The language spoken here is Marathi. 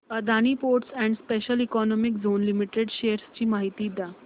Adani ports and special economic zone limited shares ची माहिती द्या